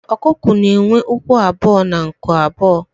ọkụkọ na enwe ụkwụ abuo na nku abuo